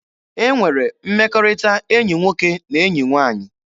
E nwere mmekọrịta enyi nwoke na enyi nwaanyị.